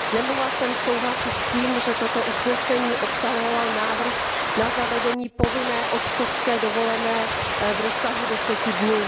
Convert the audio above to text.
Nemohla jsem souhlasit s tím, že toto usnesení obsahovalo návrh na zavedení povinné otcovské dovolené v rozsahu deseti dnů.